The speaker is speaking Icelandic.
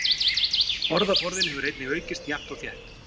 Orðaforðinn hefur einnig aukist jafnt og þétt.